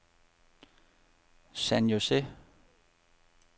San José